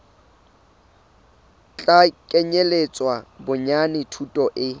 tla kenyeletsa bonyane thuto e